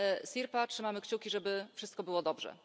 Sirpa, trzymamy kciuki, żeby wszystko było dobrze!